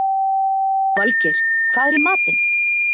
Valgeir, hvað er í matinn?